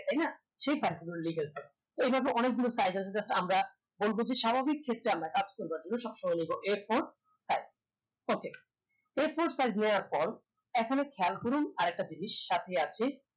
তাইনা সে কাজগুলো legal থাকবে এইভাবে অনেকগুলো size আছে just আমরা বলবো যে স্বাভাবিক ক্ষেত্রে আমরা কাজ করবার জন্য সবসময় নিবো a four size okay a four size নেয়ার পর এখানে খেয়াল করুন আরেকটা জিনিস সাথেই আছে